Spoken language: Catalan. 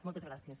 moltes gràcies